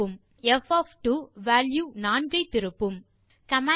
இப்போது பைத்தோன் இல் எப்படி பங்ஷன் ப் ஒஃப் எக்ஸ் ஐ டிஃபைன் செய்வது என்று பார்க்கலாம்